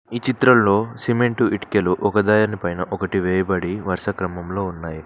ఈ చిత్రంలో సిమెంటు ఇటికలు ఒకదానిపైన ఒకటి వేయబడి వరుస క్రమంలో ఉన్నాయి.